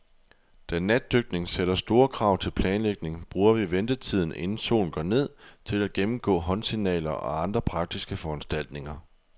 Da natdykning sætter store krav til planlægning, bruger vi ventetiden, inden solen går ned, til at gennemgå håndsignaler og andre praktiske foranstaltninger.